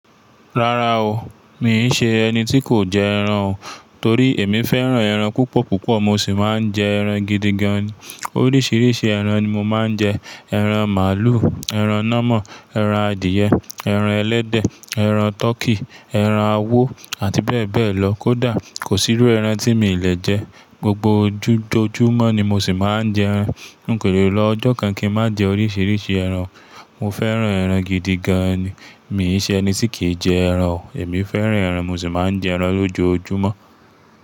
Rárá o, mi ń ṣe ẹni tí kò jẹ ẹran o. Torí èmi fẹ́ràn ẹran púpọ̀púpọ̀, mo sì máa ń jẹ ẹran gidigan. Oríṣiríṣi ẹran ni mo máa ń jẹ. Ẹran màálù, ẹran nọ́mọ̀, ẹran adìyẹ, ẹran ẹlẹ́dẹ̀, ẹran tọkí, ẹran awó àti bẹ́ẹ̀ bẹ́ẹ̀ lọ. Kódà kò sírú ẹran tí mi le jẹ. Gbogbo ojú jójúmọ́ ni mo sì máa ń jẹ ẹran. N kò lè lọ ọjọ́ kan kí n má jẹ oríṣiríṣi ẹran. Mo fẹ́ràn ẹran gidigan ni, mi ń ṣe ẹni tí kì í jẹ ẹran o. Èmi fẹ́ràn ẹran, mo sì máa ń jẹ ẹran lójoojúmọ́.